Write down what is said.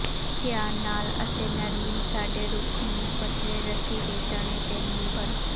ਧਿਆਨ ਨਾਲ ਅਤੇ ਨਰਮੀ ਸਾਡੇ ਰੁੱਖ ਨੂੰ ਪਤਲੇ ਰੱਸੀ ਦੇ ਤਣੇ ਤੇਨਿਰਭਰ